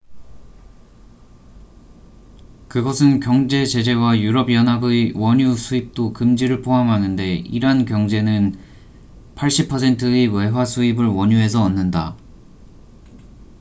그것은 경제 제재와 유럽 연합의 원유 수입도 금지를 포함하는데 이란 경제는 80%의 외화 수입을 원유에서 얻는다